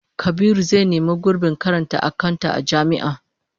Kabiru zai nemi gurbin karanta akanta a jami'a